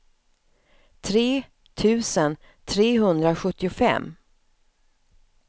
tre tusen trehundrasjuttiofem